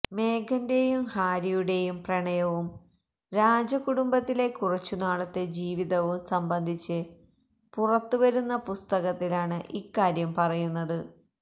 മേഗന്റെയും ഹാരിയുടെയും പ്രണയവും രാജകുടുംബത്തിലെ കുറച്ചു നാളത്തെ ജീവിതവും സംബന്ധിച്ച് പുറത്തു വരുന്ന പുസ്തകത്തിലാണ് ഇക്കാര്യം പറയുന്നത്